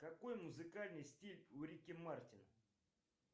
какой музыкальный стиль у рики мартина